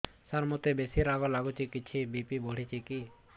ସାର ମୋତେ ବେସି ରାଗ ଲାଗୁଚି କିଛି ବି.ପି ବଢ଼ିଚି କି